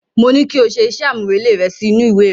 Mo ní kí o ṣe iṣẹ́ àmúrelé rẹ sí inú ìwé rẹ.